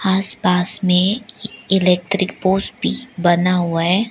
आस पास में electric pole भी बना हुआ है।